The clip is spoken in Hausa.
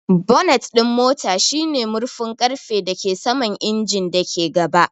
Bonnet ɗin mota shine murfin ƙarfe da ke saman injin da ke gaba.